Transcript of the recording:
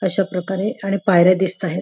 अश्या प्रकारे पायऱ्या दिसताहेत.